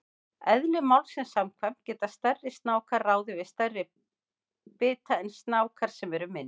Eðli málsins samkvæmt geta stærri snákar ráðið við stærri bita en snákar sem eru minni.